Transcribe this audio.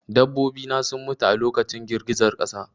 Dabbobi na sun mutu a lokacin girgizar ƙasa